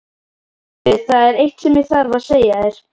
Heyrðu. það er eitt sem ég þarf að segja þér!